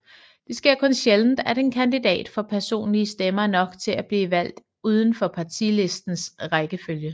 Det sker kun sjældent at en kandidat får personlige stemmer nok til at bliver valgt uden for partilistens rækkefølge